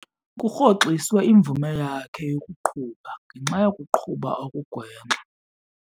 Kurhoxiswe imvume yakhe yokuqhuba ngenxa yokuqhuba okugwenxa.